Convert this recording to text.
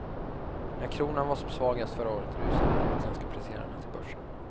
När kronan var som svagast förra året rusade de utländska placerarna till börsen.